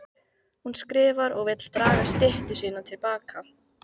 Hún skrifar og vill draga styttu sína til baka.